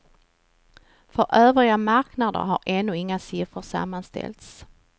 För övriga marknader har ännu inga siffror sammanställts.